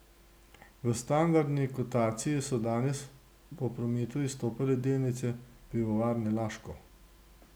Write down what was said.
V standardni kotaciji so danes po prometu izstopale delnice Pivovarne Laško.